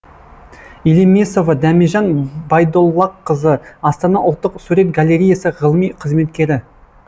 елемесова дәмежан байдоллақызы астана ұлттық сурет галереясы ғылыми қызметкері